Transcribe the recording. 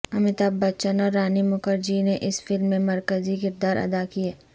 امیتابھ بچن اور رانی مکھر جی نے اس فلم میں مرکزی کردار ادا کیے